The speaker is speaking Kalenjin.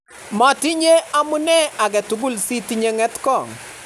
metinye amune agetugul si tinye ngetkong'